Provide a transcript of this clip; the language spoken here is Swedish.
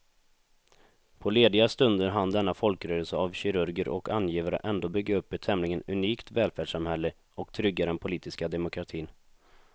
På lediga stunder hann denna folkrörelse av kirurger och angivare ändå bygga upp ett tämligen unikt välfärdssamhälle och trygga den politiska demokratin.